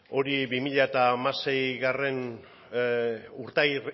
hori bi mila hamaseigarrena